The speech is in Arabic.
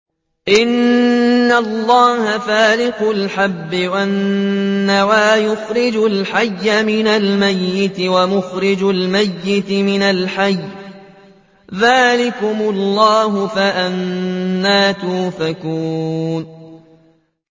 ۞ إِنَّ اللَّهَ فَالِقُ الْحَبِّ وَالنَّوَىٰ ۖ يُخْرِجُ الْحَيَّ مِنَ الْمَيِّتِ وَمُخْرِجُ الْمَيِّتِ مِنَ الْحَيِّ ۚ ذَٰلِكُمُ اللَّهُ ۖ فَأَنَّىٰ تُؤْفَكُونَ